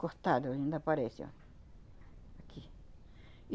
Cortado, ainda aparece, ó. Aqui.